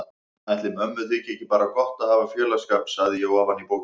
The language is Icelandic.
Ætli mömmu þyki ekki bara gott að hafa félagsskap, sagði ég ofan í bókina.